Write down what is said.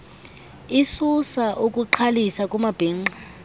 isusa ukugqalisa kumabhinqa